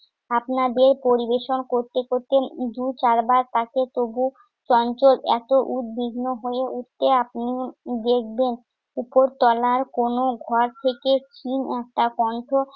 আপনাদের পরিবেশন করতে করতে দু চারবার তাকে তবু চঞ্চল এত উদ্বিগ্ন হয়ে উঠতে আপনিও দেখবেন। উপরতলার কোনো ঘর থেকে ক্ষীণ একটা কণ্ঠ